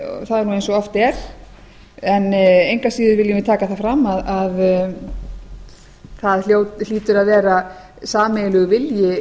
það er nú eins og oft er en engu að síður viljum við taka það fram að það hlýtur að vera sameiginlegur vilji þeirra